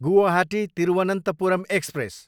Guwahati, Thiruvananthapuram express